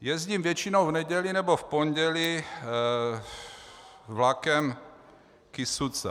Jezdím většinou v neděli nebo v pondělí vlakem Kysuca.